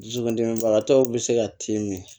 Dusukundimibagatɔw be se ka tin min